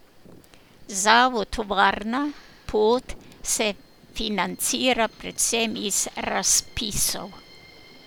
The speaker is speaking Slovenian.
Zavod Varna pot se financira predvsem iz razpisov.